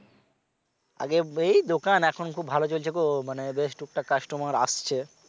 আজ্ঞে এই দোকান এখন খুব ভালো চলছে গো মানে বেশ টুকটাক customer আসছে।